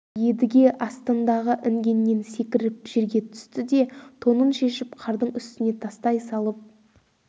едіге астындағы інгеннен секіріп жерге түсті де тонын шешіп қардың үстіне тастай салып қолындағы ұзын қамшының орауын тарқатты